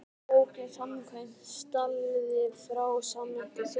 Hvað er bók samkvæmt staðli frá Sameinuðu þjóðunum?